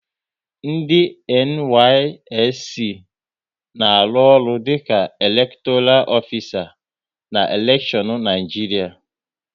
Ndị NYSC na-arụ ọrụ dịka elektoral ofisa na elekshion Naịjiria